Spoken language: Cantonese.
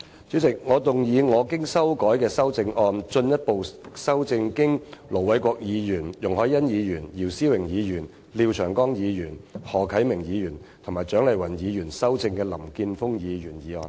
主席，我動議我經修改的修正案，進一步修正經盧偉國議員、容海恩議員、姚思榮議員、廖長江議員、何啟明議員及蔣麗芸議員修正的林健鋒議員議案。